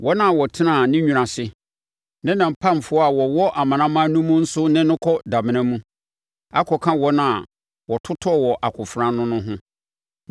Wɔn a wɔtenaa ne nwunu ase, ne ne mpamfoɔ a wɔwɔ amanaman no mu nso ne no kɔ damena mu, akɔka wɔn a wɔtotɔɔ wɔ akofena ano no ho.